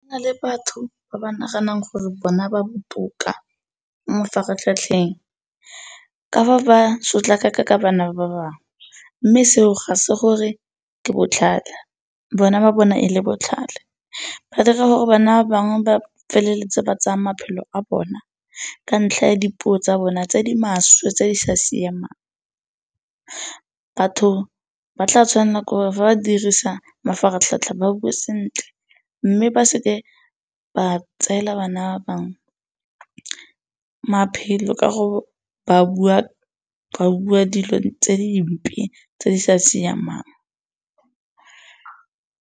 le batho ba ba naganang gore bona ba botoka mafaratlhatlheng ka fa ba sotlaka ka bana ba bangwe mme seo ga se gore ke botlhale, bona ba bona e le botlhale. Ba dira gore bana ba bangwe ba feleletse ba tsaya maphelo a bona ka ntlha ya dipuo tsa bona tse di maswe tse di sa siamang. Batho ba tla tshwanela ke gore fa ba dirisa mafaratlhatlha ba bue sentle mme ba seke ba tseela bana ba bangwe maphelo ka gore ba bua dilo tse dimpe tse di sa siamang.